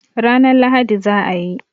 Ranan Lahadi za a yi